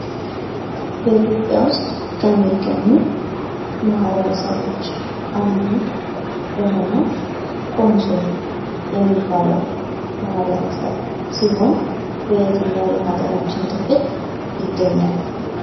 በኢትዮጵያ ውስጥ ከሚገኙ ማኅበረሰቦች አንዱ የሆነው ኮንሶ የሚባለው ማህበረሰብ ሲሆን፤ በየትኛውም የሀገራችን ክፍል ይገኛል?